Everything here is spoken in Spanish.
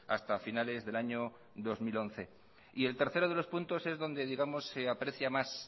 hasta finales del año dos mil once y el tercero de los puntos es donde digamos se aprecia más